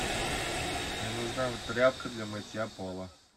мне нужна тряпка для мытья пола